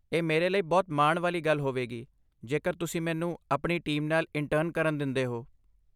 ਇਹ ਮੇਰੇ ਲਈ ਬਹੁਤ ਮਾਣ ਵਾਲੀ ਗੱਲ ਹੋਵੇਗੀ ਜੇਕਰ ਤੁਸੀਂ ਮੈਨੂੰ ਆਪਣੀ ਟੀਮ ਨਾਲ ਇੰਟਰਨ ਕਰਨ ਦਿੰਦੇ ਹੋ।